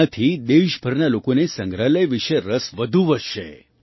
તેનાથી દેશભરના લોકોને સંગ્રહાલય વિશે રસ વધુ વધશે